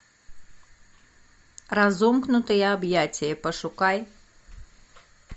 разомкнутые объятия пошукай